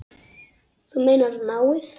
Þú meinar náið?